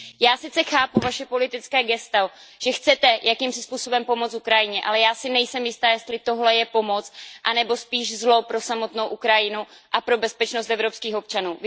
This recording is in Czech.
Já sice chápu to politické gesto, že chcete jakýmsi způsobem pomoci Ukrajině, ale já si nejsem jistá, jestli tohle je pomoc anebo spíš zlo pro samotnou Ukrajinu a pro bezpečnost evropských občanů.